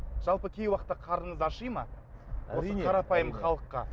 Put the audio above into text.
жалпы кей уақытта қарныңыз аши ма осы қарапайым халыққа